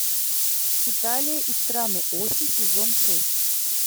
хеталия и страны оси сезон шесть